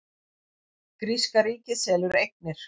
Gríska ríkið selur eignir